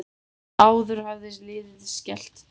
Áður hafði liðið skellt Dönum.